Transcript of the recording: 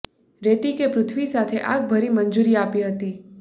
રેતી કે પૃથ્વી સાથે આગ ભરી મંજૂરી આપી હતી